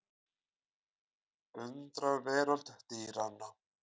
Undraveröld dýranna.